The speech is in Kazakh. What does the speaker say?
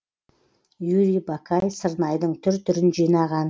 юрий бакай сырнайдың түр түрін жинаған